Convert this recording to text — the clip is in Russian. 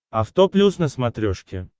авто плюс на смотрешке